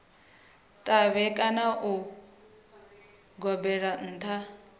ṱavhe kana vha gobelele nṱha